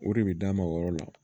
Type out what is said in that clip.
O de bɛ d'a ma o yɔrɔ la